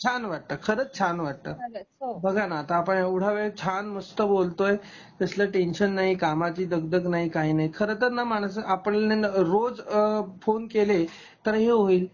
छान वाटत खरंच छान वाटत. बघा ना आता आपण एव्हडा वेळ छान मस्त बोलतोय कसल टेंशन नाही कामाची दगदग नाही काही नाही खरं तर ना माणस अ रोज फोन अ फोन केले तर हे होईल